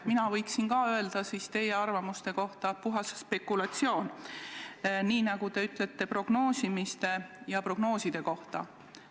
Mina võiksin teie arvamuse kohta samuti öelda, et see on puhas spekulatsioon, nii nagu teie ütlete prognoosimise ja prognooside kohta.